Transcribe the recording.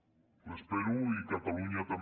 ho espero i catalunya també